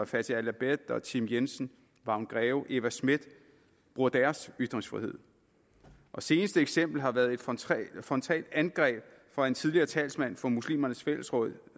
fathi el abed tim jensen vagn greve og eva smith bruger deres ytringsfrihed seneste eksempel har været et frontalt frontalt angreb fra en tidligere talsmand for muslimernes fællesråd